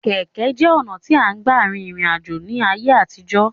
Kẹ̀kẹ́ jẹ́ ọ̀nà tí à ń gbà rin ìrìn àjò ní ayé àtijó.